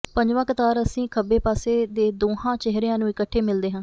ਪੰਜਵਾਂ ਕਤਾਰ ਅਸੀਂ ਖੱਬੇ ਪਾਸੇ ਦੇ ਦੋਹਾਂ ਚਿਹਰਿਆਂ ਨੂੰ ਇਕੱਠੇ ਮਿਲਦੇ ਹਾਂ